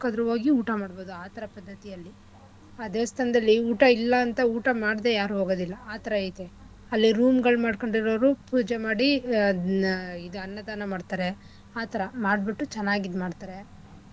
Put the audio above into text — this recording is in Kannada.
ಹೋಗಿ ಊಟ ಮಾಡ್ಬೋದು ಆಥರಾ ಪದ್ಧತಿ ಅಲ್ಲಿ ಆ ದೇವಸ್ಥಾನದಲ್ಲಿ ಊಟ ಇಲ್ಲ ಅಂತ ಊಟ ಮಾಡ್ದೆ ಯಾರೂ ಹೋಗದಿಲ್ಲ ಆಥರ ಇದೆ ಅಲ್ಲಿ room ಗಳ್ ಮಾಡ್ಕೊಂಡ್ ಇರೋರು ಪೂಜೆ ಮಾಡಿ ಅದ್ನ ಇದು ಅನ್ನ ದಾನ ಮಾಡ್ತರೆ ಆಥರಾ ಮಾಡ್ಬುಟ್ಟು ಚೆನ್ನಾಗ್ ಇದ್ಮಾಡ್ತಾರೆ.